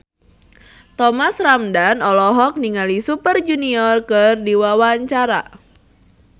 Thomas Ramdhan olohok ningali Super Junior keur diwawancara